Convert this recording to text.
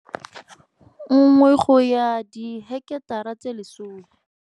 1 go ya diheketara tse 10.